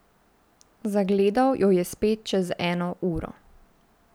Zagledal jo je spet čez eno uro.